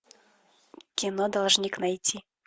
кино должник найти